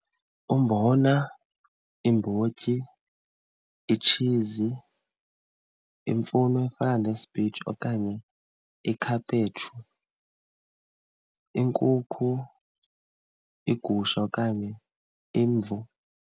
Umbona, iimbotyi, itshizi, imfuno efana nesipinatshi okanye ikhaphetshu, iinkukhu, igusha okanye imvu.